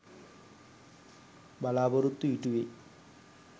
බලාපොරොත්තු ඉටුවෙයි.